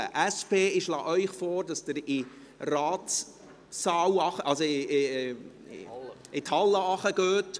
Der SP schlage ich vor, dass sie in die Rathaushalle hinuntergeht.